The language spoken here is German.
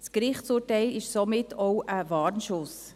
Das Gerichtsurteil ist somit auch ein Warnschuss.